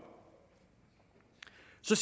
så